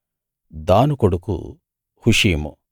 దాను కొడుకు హుషీము